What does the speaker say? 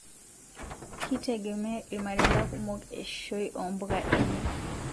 Kietegemea ilmareta kumok eishoi oo ntapuka enye